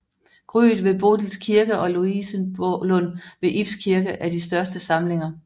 Gryet ved Bodils Kirke og Louisenlund ved Ibs Kirke er de største samlinger